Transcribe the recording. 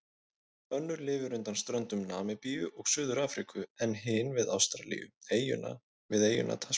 Önnur lifir undan ströndum Namibíu og Suður-Afríku en hin við Ástralíu, við eyjuna Tasmaníu.